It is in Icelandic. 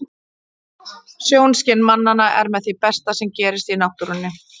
Sjónskyn mannanna er með því besta sem gerist í náttúrunni.